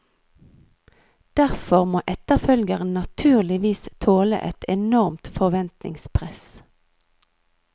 Derfor må etterfølgeren naturligvis tåle et enormt forventningspress.